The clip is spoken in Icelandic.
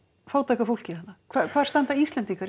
fátæka fólki þarna hvar standa Íslendingar